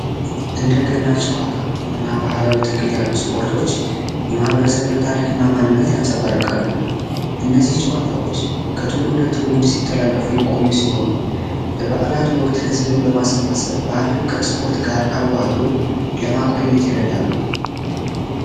እንደገና ጨዋታ እና ባህላዊ ትግል ያሉ ስፖርቶች የማህበረሰብን ታሪክና ማንነት ያንተ ባርካሉ ጨዋታዎች ከትውልደ ትውልድ ሲተላለፉ የቆዩ ሲሆን ለበዓላት ወቅት ህዝብን በማሰባሰብ በዓለም ከስፖርት ጋር አዋህዶ ለማቆየት ይረዳሉ